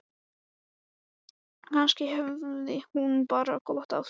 Kannski hafði hún bara gott af því.